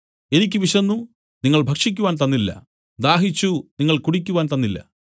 എനിക്ക് വിശന്നു നിങ്ങൾ ഭക്ഷിക്കുവാൻ തന്നില്ല ദാഹിച്ചു നിങ്ങൾ കുടിക്കുവാൻ തന്നില്ല